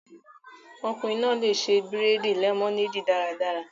Ọkùnrin náà lè ṣe bírèèdì lẹmọneedi daradara